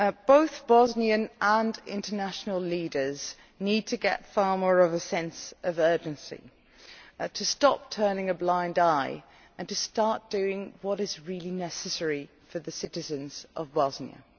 Both Bosnian and international leaders need to get far more of a sense of urgency to stop turning a blind eye and to start doing what is really necessary for the citizens of Bosnia.